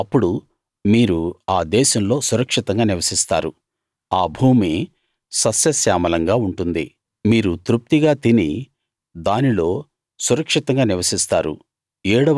అప్పుడు మీరు ఆ దేశంలో సురక్షితంగా నివసిస్తారు ఆ భూమి సస్యశ్యామలంగా ఉంటుంది మీరు తృప్తిగా తిని దానిలో సురక్షితంగా నివసిస్తారు